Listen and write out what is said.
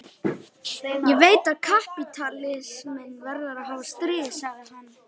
Ég veit að kapítalisminn verður að hafa stríð, sagði hann.